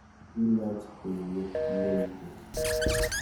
Bilach kweiyet ne mpya.